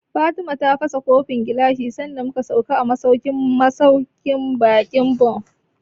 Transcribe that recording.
Fatima ta fasa kofin gilashi sanda mu ka sauka a masauƙin baƙin Bon